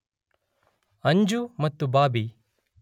ಅಂಜು ಮತ್ತು ಬಾಬಿ